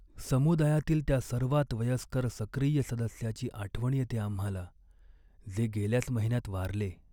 समुदायातील त्या सर्वात वयस्कर सक्रिय सदस्याची आठवण येते आम्हाला, जे गेल्याच महिन्यात वारले.